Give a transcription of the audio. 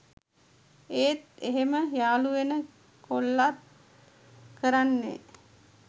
ඒත් එහෙම යාලු වෙන කොල්ලත් කරන්නේ